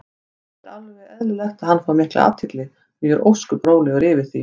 Það er eðlilegt að hann fái mikla athygli og ég er ósköp rólegur yfir því.